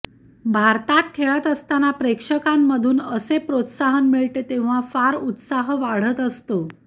भारतात खेळत असताना प्रेक्षकांमधून असे प्रोत्साहन मिळते तेव्हा फार उत्साह वाढत असतो